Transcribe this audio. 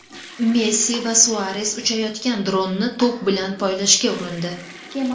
Messi va Suares uchayotgan dronni to‘p bilan poylashga urindi .